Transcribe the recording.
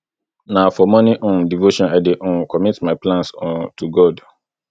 na for morning um devotion i dey um commit my plans um to god